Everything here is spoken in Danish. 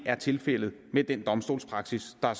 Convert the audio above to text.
er tilfældet med den domstolspraksis der